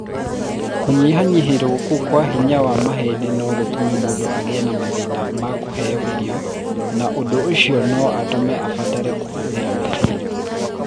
Kũnyihanyihĩrio kũu kwa hinya wa mahĩndĩ no gũtũme mũndũ agĩe na mathĩna ma kũheo irio na ũndũ ũcio no ũtũme abatare kũhũthĩra mĩbĩra.